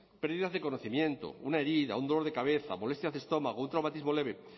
pérdidas de conocimiento una herida un dolor de cabeza molestias de estómago un traumatismo leve